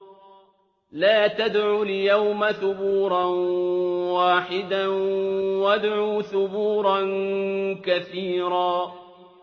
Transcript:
لَّا تَدْعُوا الْيَوْمَ ثُبُورًا وَاحِدًا وَادْعُوا ثُبُورًا كَثِيرًا